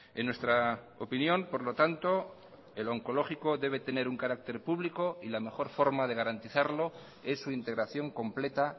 en nuestra opinión por lo tanto el oncológico debe tener un carácter público y la mejor forma de garantizarlo es su integración completa